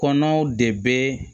Kɔnɔw de bɛ